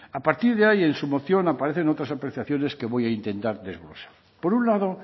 a partir de ahí en su moción aparecen otras apreciaciones que voy a intentar desglosar por un lado